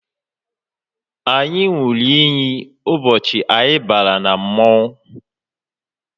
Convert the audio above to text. Anyị ṅụrụ iyi ụbọchị anyị bara na mmọnwụ